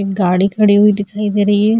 एक गाड़ी खड़ी हुई दिखाई दे रही है।